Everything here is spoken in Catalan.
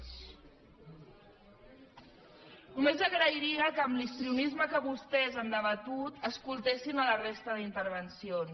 només agrairia que amb l’histrionisme amb què vostès han debatut escoltessin la resta d’intervencions